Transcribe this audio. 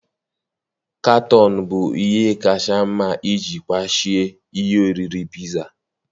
Katọn bụ ihe kacha mma iji kwachie ihe oriri piza